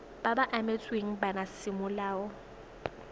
ba ba abetsweng bana semolao